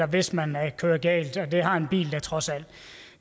hvis man kører galt og det har en bil da trods alt